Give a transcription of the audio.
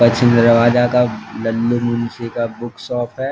पश्चिम दरवाजा का लल्लू मुनसी का बुक शॉप है।